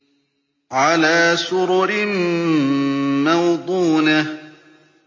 عَلَىٰ سُرُرٍ مَّوْضُونَةٍ